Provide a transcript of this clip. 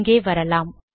இங்கே வரலாம்